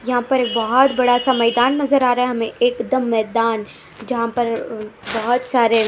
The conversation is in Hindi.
यहां पर एक बहुत बड़ा सा मैदान नजर आ रहा है हमें एकदम मैदान यहां पर बहुत सारे--